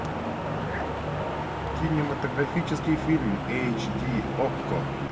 кинематографический фильм эйч ди окко